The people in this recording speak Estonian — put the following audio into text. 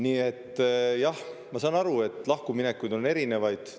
Nii et jah, ma saan aru, et lahkuminekuid on erinevaid.